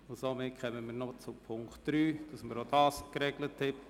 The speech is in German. Somit kommen wir noch zu Punkt 3, damit wir auch diesen geregelt haben.